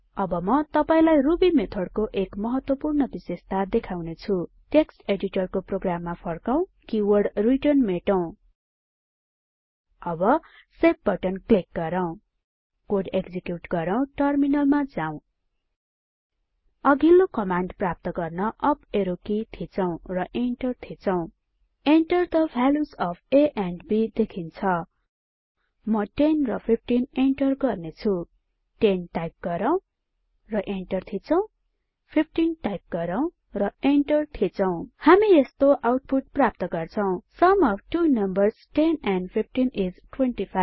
अब म तपाईलाई रुबी मेथड को एक महत्वपूर्ण विशेषता देखाउने छुँ टेक्स्ट एडिटरको प्रोग्राममा फर्कौं कीवर्ड रिटर्न मेटौं अब सेभ बटन क्लिक गरौ कोड एक्जिक्युट गरौ टर्मिनलमा जाँऊ अघिल्लो कमान्ड प्राप्त गर्न अप एरो की थिचौं र इन्टर थिचौं Enter the values of a and b देखिन्छ म 10 र 15 इन्टर गर्ने छु 10 टाइप गरौ इन्टर थिचौं 15 टाइप गरौ र इन्टर थिचौं हामी यस्तो आउटपुट प्राप्त गर्छौ सुम of two numbers 10 and 15 is 25